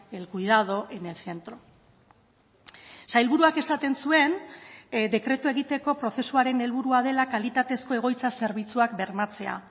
el cuidado en el centro sailburuak esaten zuen dekretua egiteko prozesuaren helburua dela kalitatezko egoitza zerbitzuak bermatzea